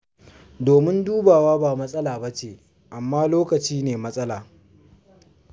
Domin dubawa ba matsala ba ce, amma lokacin ne matsala.